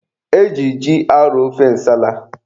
E ji ji arọ ofe nsala.